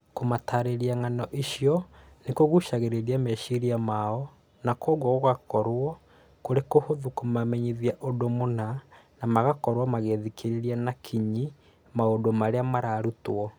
Kũmataarĩria ng'ano icio nĩ kũgucagĩrĩria meciria mao na kwoguo gũgaakorũo kũrĩ kũhũthũ kũmamenyithia ũndũ mũna na magakorwo magĩthikĩrĩria na kinyi maũndũ marĩa mararutwo